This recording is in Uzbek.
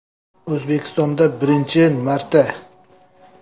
O‘zbekistonda birinchi marta!